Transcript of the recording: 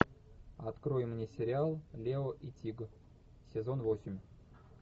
открой мне сериал лео и тиг сезон восемь